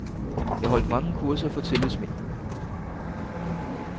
Jeg holdt mange kurser for tillidsmænd.